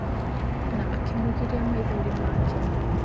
Na akĩmũgiria maithori make.